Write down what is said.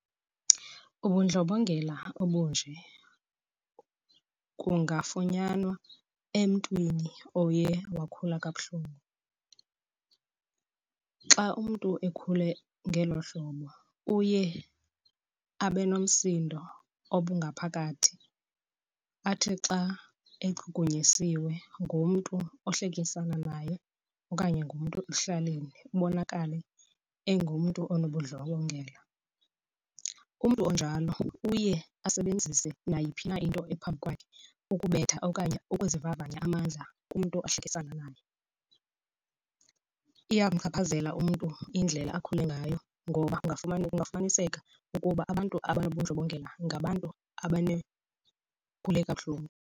Ubundlobongela obunje kungafunyanwa emntwini oye wakhula kabuhlungu. Xa umntu ekhule ngelo hlobo uye abe nomsindo obungaphakathi, athi xa echukunyisiwe ngumntu ohlekisani naye okanye ngumntu ekuhlaleni ubonakale engumntu onobundlobongela. Umntu onjalo uye asebenzise nayiphi na into ephambi kwakhe ukubetha okanye ukuzivavanya amandla kumntu ohlekisani ngaye. Iyamchaphazela umntu indlela akhule ngayo ngoba kungafumaniseka ukuba abantu abanobundlobongela ngabantu ukhule kabuhlungu.